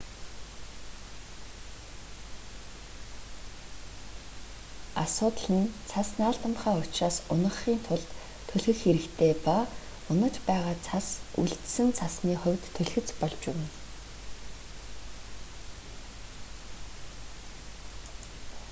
асуудал нь цас наалдамхай учраас унагахын тулд түлхэх хэрэгтэй ба унаж байгаа цас үлдсэн цасны хувьд түлхэц болж болно